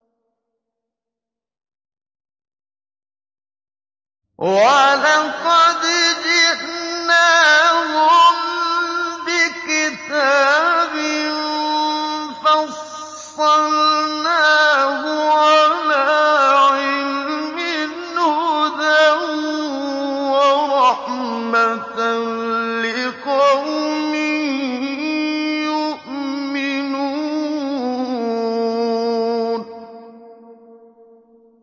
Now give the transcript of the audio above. وَلَقَدْ جِئْنَاهُم بِكِتَابٍ فَصَّلْنَاهُ عَلَىٰ عِلْمٍ هُدًى وَرَحْمَةً لِّقَوْمٍ يُؤْمِنُونَ